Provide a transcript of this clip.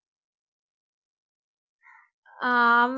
ஆஹ்